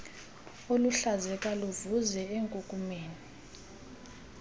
oluhluzeka luvuze enkunkumeni